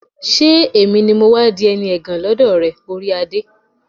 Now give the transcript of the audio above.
ṣé èmi ni mọ́ wá di ẹni ẹ̀gàn lọ́dọ̀ rẹ, orí adé?